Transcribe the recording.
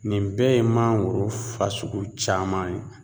Nin bɛɛ ye mangoro fasugu caman ye.